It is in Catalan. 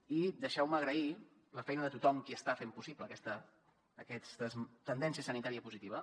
i deixeu me agrair la feina de tothom qui està fent possible aquesta tendència sanitària positiva